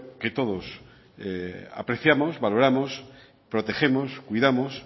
que todos apreciamos valoramos protegemos cuidamos